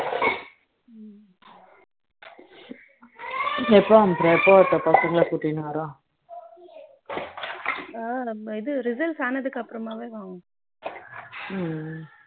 எப்போ அனுப்புற எப்ப வர பசங்களை கூட்டிட்டு வரேன் ஆ நம்ம இது results ஆனதுக்கு அப்புறமாவே வாங்கணும்